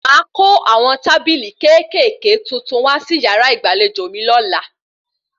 Máa kó àwọn tábìlì kéékèèké tuntun wá sí yàrá ìgbàlejò mi lọ́la